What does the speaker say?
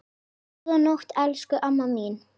Góða nótt, elsku amma mín.